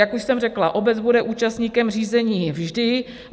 Jak už jsem řekla, obec bude účastníkem řízení vždy.